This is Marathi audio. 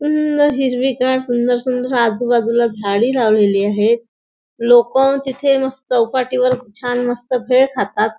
सुंदर हिरवीगार सुंदर सुंदर आजूबाजूला झाडी लावलेली आहेत लोक तिथे मस् चौपाटीवर छान मस्त भेळ खातात.